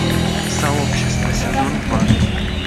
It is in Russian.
сообщество сезон два